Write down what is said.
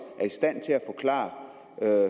er